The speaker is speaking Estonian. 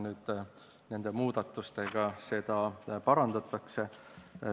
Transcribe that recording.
Nüüd nende muudatustega seda parandatakse.